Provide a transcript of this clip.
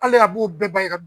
Hali a b'u bɛɛ ban i ka